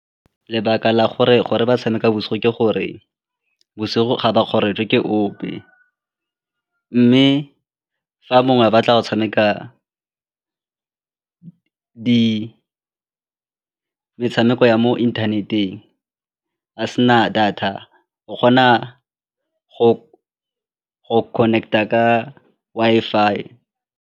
Lebaka la gore gore ba tshameka bosigo ke gore bosigo ga ba ke ope mme fa mongwe a batla go tshameka metshameko ya mo internet-eng a sena data o kgona go connect-a ka Wi-Fi.